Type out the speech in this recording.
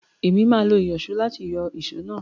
Èmi máa lo ìyọ̀só láti yọ èsó náà.